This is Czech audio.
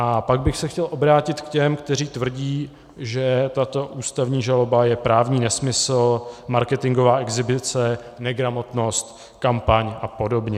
A pak bych se chtěl obrátit k těm, kteří tvrdí, že tato ústavní žaloba je právní nesmysl, marketingová exhibice, negramotnost, kampaň a podobně.